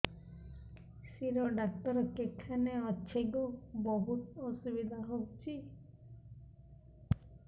ଶିର doctor କେଖାନେ ଅଛେ ଗୋ ବହୁତ୍ ଅସୁବିଧା ହଉଚି